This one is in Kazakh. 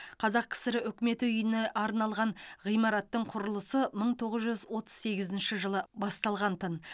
қазақ кср үкімет үйіне арналған ғимараттың құрылысы мың тоғыз жүз отыз сегізінші жылы басталғантын